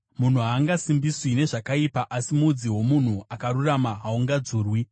Munhu haangasimbiswi nezvakaipa, asi mudzi womunhu akarurama haungadzurwi.